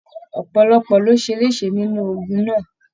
Ọpọlọpọ lo ṣe lese nínú ogún náà.